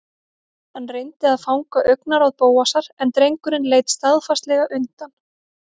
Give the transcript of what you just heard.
Hann reyndi að fanga augnaráð Bóasar en drengurinn leit staðfastlega undan.